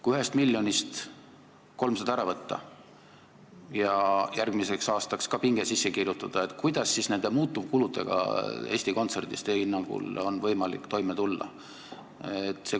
Kui 1 miljonist 300 000 ära võtta ja järgmiseks aastaks ka pinge sisse kirjutada, kuidas siis on nende muutuvkuludega Eesti Kontserdis teie hinnangul võimalik toime tulla?